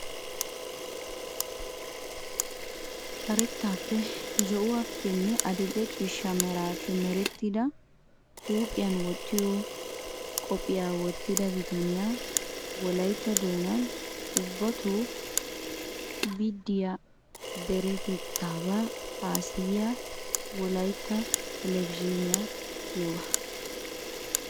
Karettaappe zo"uwaappenne adil"ee ciishsha meraappe merettida huuphiyan wottiyo qophphiyaa wottida bitaniyaa. Wolayitta doonan ubbatoo biddiyaa deretettaabaa haasayiyaa wolayitya telbejiiniyaa giyoogaa.